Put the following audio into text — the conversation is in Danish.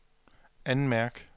anmærk